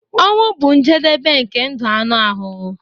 Ọnwụ bụ njedebe nke ndụ anụ ahụ.